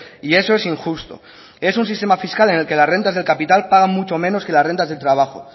y eso es injusto es un sistema fiscal en el que las rentas del capital paga mucho menos que las rentas del trabajo